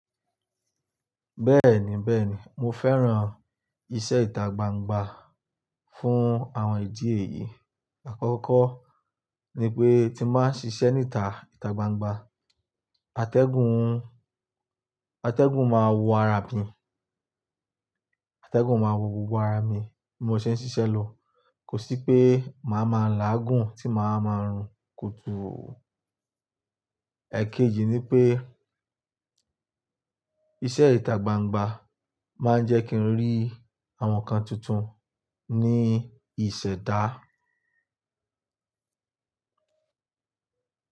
Bẹ́ẹ̀ni bẹ́ẹ̀ni, mo fẹ́ràn iṣẹ́ ìta gbangba fún àwọn ìdí èyí: Àkọ́kọ́ ni pé, tí n ba ṣiṣẹ́ níta ìta gbangba, atẹ́gùn, atẹ́gùn máa wo ara mi, atẹ́gùn máa wo gbogbo ara mi bí mo ṣe ń ṣiṣẹ́ lọ, kò sí pé màá ma láàgùn tí màá máa ń rùn kótó. Èkejì ni pé, iṣẹ́ ìta gbangba máa ń jẹ́ kí n rí àwọn nǹkan tuntun ní ìṣẹ̀dá.